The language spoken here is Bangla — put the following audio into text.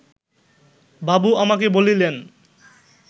বাবু আমাকে বলিলেন